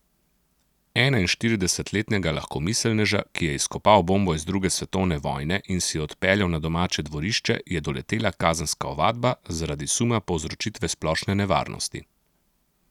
Enainštiridesetletnega lahkomiselneža, ki je izkopal bombo iz druge svetovne vojne in si jo odpeljal na domače dvorišče, je doletela kazenska ovadba zaradi suma povzročitve splošne nevarnosti.